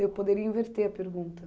Eu poderia inverter a pergunta.